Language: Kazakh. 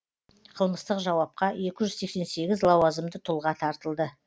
қылмыстық жауапқа екі жүз сексен сегіз лауазымды тұлға тартылды